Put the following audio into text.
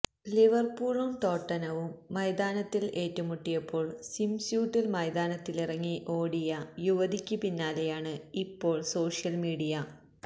ലിവര്പൂളും ടോട്ടനവും മൈതാനത്തിൽ ഏറ്റുമുട്ടിയപ്പോള് സ്വിം സ്യൂട്ടില് മൈതാനത്തിലിറങ്ങിയ ഓടിയ യുവതിക്ക് പിന്നാലെയാണ് ഇപ്പോള് സോഷ്യല് മീഡിയ